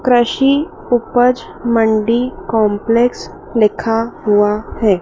कृषि उपज मंडी कॉम्प्लेक्स लिखा हुआ है।